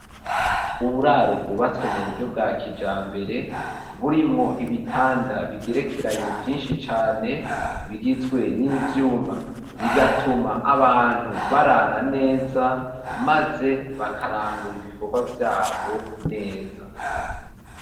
Uburaro bwubatswe mu buryo bwa kijambere, burimwo ibitanda bigerekeranye vyinshi cane, bigizwe n'ivyuma bigatuma abantu barara neza maze bakarangura ibikorwa vyabo neza.